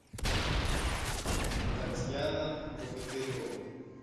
татьяна богатырева